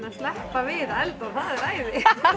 að sleppa við að elda og það er æði